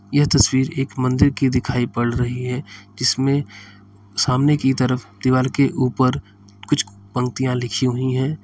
यह तस्वीर एक मन्दिर की दिखाई पड़ रही है जिसमें सामने की तरफ दीवार के उपर कुछ पंक्तियां लिखी हुई हैं।